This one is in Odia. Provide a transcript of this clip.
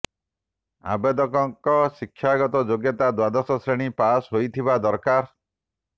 ଆବେଦକଙ୍କ ଶିକ୍ଷାଗତ ଯୋଗ୍ୟତା ଦ୍ୱାଦଶ ଶ୍ରେଣୀ ପାସ୍ ହୋଇଥିବା ଦରକାର